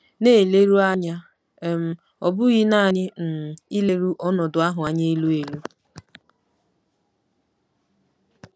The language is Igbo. Na-eleru anya um, ọ bụghị nanị um ileru ọnọdụ ahụ anya elu elu.